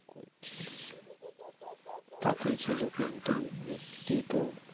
তাকিয়ে ছিল কিন্তু মুক্তি তো